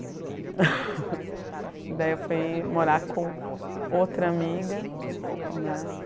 E daí eu fui morar com outra amiga, né?